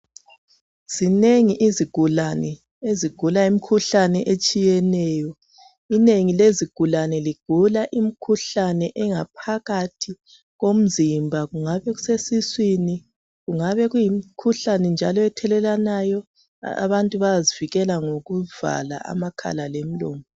Zinengi izigulane ezigula imkhuhlane etshiyeneyo. Inengi lezigulane ligula imikhuhlane engaphakathi komzimba. kungabe kusesiswini, kungabe kuyimkhuhlane njalo ethelelwanayo. Abntu bayazivikele ngokuvala amakhala lomlomo.